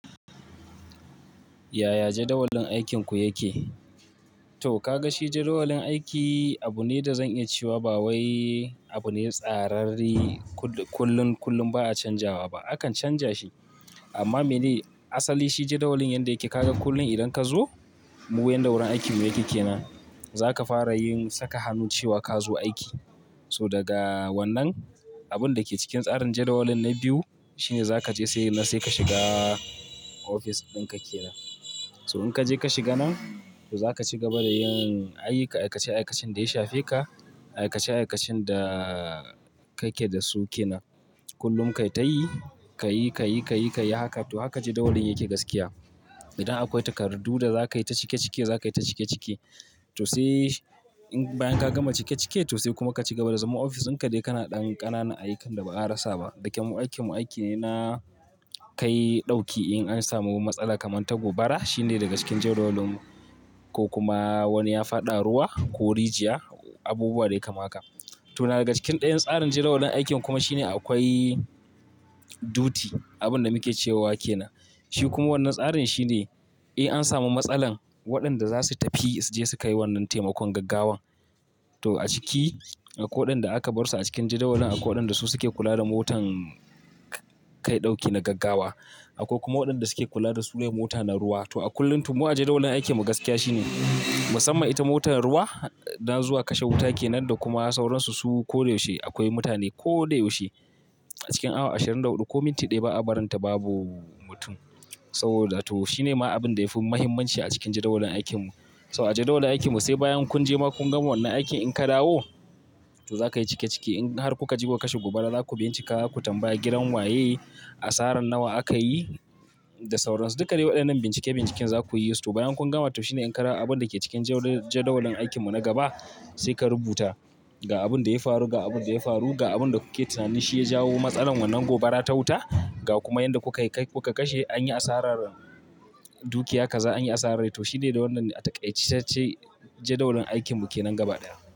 Yaya jadawalin aikinku yake? To kaga shi jadawalin aiki abune da zan iya cewa ba wai abune tsararre kullum, kullum ba'a canjawa ba. Akan canja shi, amma me ne, asali shi jadawalin yanda yake. Kaga kullum idan ka zo mu yanda gurin aikinmu yake kenan, zaka fara yin saka hannu cewa ka zo aiki. To daga wannan, abunda ke cikin tsarin jadawalin na biyu shine zaka je sai nan sai ka shiga ofis ɗin ka kenan. So in ka je ka shiga nan, to zaka ci gaba da yin ayyukan, aikace-aikacen da ya shafe ka, aikace-aikacen da kake da su kenan. Kullum ka yi ta yi, kayi, kayi, kayi, kayi haka to haka jadawalin yake gaskiya. Idan akwai takardu da zaka yi ta cike-cike, zaka yi ta cike-cike. To sai in bayan ka gama cike-cike to sai kuma ka ci gaba da zama ofis ɗinka dai kana ɗan ƙananan ayyukan da baza a rasa ba. Dake mu aikin mu aiki na kai ɗauki in an samu matsala kamar ta gobara shine daga cikin jadawalin mu ko kuma wani ya faɗa ruwa ko rijiya, abubuwa dai kamar haka. To na daga cikin ɗayan tsarin jadawalin aikin kuma shine akwai duty, abinda muke cewa kenan. Shi kuma wannan tsarin shine, in an samu matsalan waɗanda zasu tafi su je su kai wannan taimakon gaggawan. To a ciki, akwai waɗanda aka bar su a cikin jadawalin, akwai waɗanda su suke kula da motan kai ɗauki na gaggawa. Akwai kuma waɗanda suke kula da sulai mota na ruwa. To a kullum to mu ajiye jadawalin aikin mu gaskiya shine, musamman ita motar ruwa, na zuwa kashe wuta kenan da kuma sauransu, su koda yaushe akwai mutane koda yaushe. A cikin awa ashirin da huɗu ko minti ɗaya ba'a barin ta babu mutum. Sabida to shine ma abinda yafi muhimmanci a cikin jadawalin aikinmu. To a jadawalin aikin mu sai bayan kun je ma kun gama wannan aikin, in ka dawo to zaka yi cike-cike. In har kuka je kuka kashe gobara zaku bincika ku tambaya gidan waye, asaran nawa aka yi da sauransu. Duka dai waɗannan bincike-binciken zaku yi su. To bayan kun gama to shine in ka dawo abinda ke cikin jadawalin aikinmu na gaba sai ka rubuta ga abinda ya faru, ga abinda ya faru, ga abinda kuke tunanin shi ya jawo matsalar wannan gobara ta wuta ga kuma yanda kuka kai, kuka kashe, anyi asarar dukiya kaza anyi asarar. To shine dai wannan a taƙaicacce jadawalin aikinmu kenan gaba ɗaya.